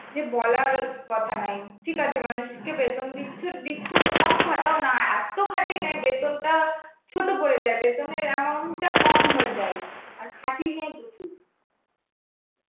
যে বলার কথা নাই. ঠিক আছে মানুষকে বেতন দিচ্ছো, দিচ্ছো কম খাটাও না, এত খাঁটিয়ে নেবে বেতনটা ছোট পড়ে যাবে. বেতনের amount টা কম হয়ে যায়. আর খাঁটিয়ে নেয় প্রচুর.